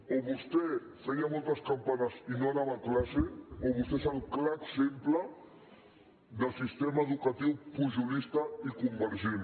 o vostè feia moltes campanes i no anava a classe o vostè és el clar exemple del sistema educatiu pujolista i convergent